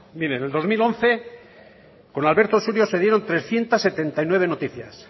mire en el dos mil once con alberto surio se dieron trescientos setenta y nueve noticias